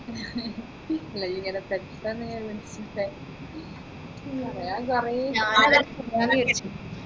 നീ ഇങ്ങനെ set ആണെന്ന് പറയാൻ കുറെ ഉണ്ട്